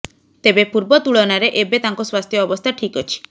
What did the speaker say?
ତେବେ ପୂର୍ବ ତୁଳନାରେ ଏବେ ତାଙ୍କ ସ୍ବାସ୍ଥ୍ୟ ଅବସ୍ଥା ଠିକ୍ ଅଛି